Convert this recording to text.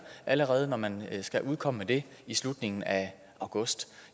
allerede når man skal komme med det i slutningen af august